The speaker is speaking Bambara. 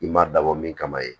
I ma dabɔ mun kama ye